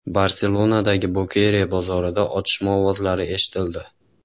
Barselonadagi Bokeria bozorida otishma ovozlari eshitildi.